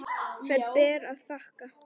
Þær ber að þakka.